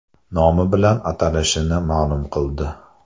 nomi bilan atalishini ma’lum qildi.